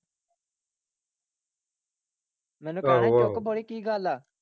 ਮੈਨੂੰ ਆਹੋ ਆਹੋ ਕੀ ਗੱਲ ਆ।